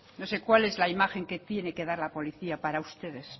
no sé cuál es la imagen que tiene que dar la policía para ustedes